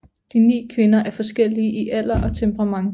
De ni kvinder er forskellige i alder og temperament